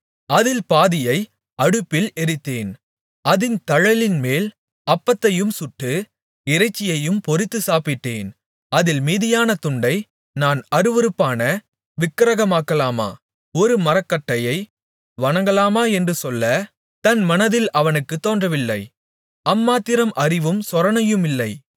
அதில் பாதியை அடுப்பில் எரித்தேன் அதின் தழலின்மேல் அப்பத்தையும் சுட்டு இறைச்சியையும் பொரித்து சாப்பிட்டேன் அதில் மீதியான துண்டை நான் அருவருப்பான விக்கிரகமாக்கலாமா ஒரு மரக்கட்டையை வணங்கலாமா என்று சொல்ல தன் மனதில் அவனுக்குத் தோன்றவில்லை அம்மாத்திரம் அறிவும் சொரணையும் இல்லை